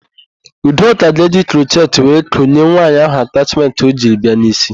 Udoka ga-eji krochet were konye nwaanyị ahụ atachmentị o jiri bịa n'ísí.